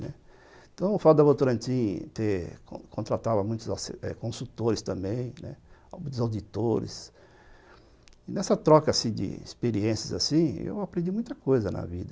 Então, o fato da Votorantim ter contratado muitos consultores também, né, muitos auditores, nessa troca de experiências assim, eu aprendi muita coisa na vida.